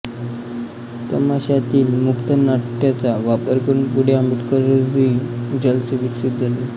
तमाशातील मुक्त नाट्यचा वापर करून पुढे आंबेडकरी जलसे विकसित झाले